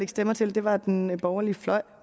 stemmer til det var den borgerlige fløj